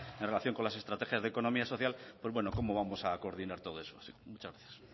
en relación con las estrategias de economía social pues cómo vamos a coordinar todo eso muchas gracias